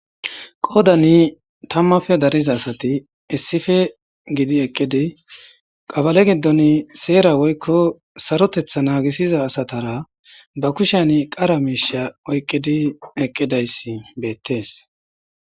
Qoodani tammafe dariza asati issife gidi eqqidi qabale giddon seera woykko sarotetha naagisiza asatara ba kushan qara miisha oyqqidi eqqidayssi beettees